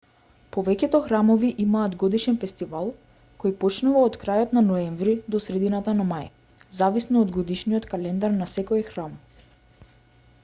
повеќето храмови имаат годишен фестивал кој почнува од крајот на ноември до средината на мај зависно од годишниот календар на секој храм